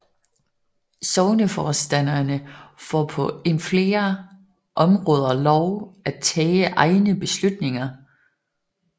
Sogneforstanderskaberne får på en flere områder lov at tage egne beslutninger